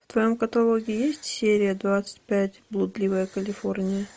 в твоем каталоге есть серия двадцать пять блудливая калифорния